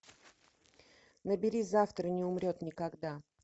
набери завтра не умрет никогда